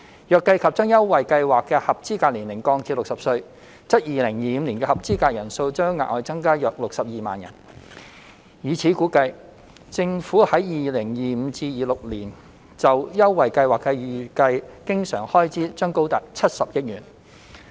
如計及將優惠計劃的合資格年齡降至60歲，則2025年的合資格人數將額外增加約62萬人。以此估算，政府在 2025-2026 年度就優惠計劃的預計經常開支將高達70億元。